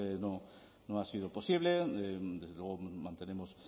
no ha sido posible desde luego mantenemos